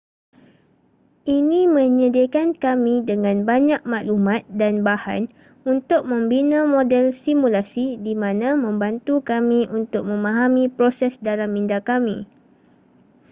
ini menyediakan kami dengan banyak maklumat dan bahan untuk membina model simulasi di mana membantu kami untuk memahami proses dalam minda kami